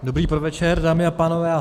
Dobrý podvečer, dámy a pánové.